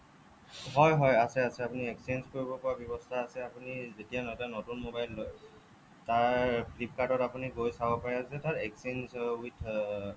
হ'য় হ'য় আছে আছে আপুনি exchange কৰিব পাৰা ৱ্যবস্থা আছে আপুনি যেতিয়া নতুন মবাইল এটা লয় তাৰ flipkartত আপুনি গৈ চাব পাৰে যে তাৰ exchange with আহ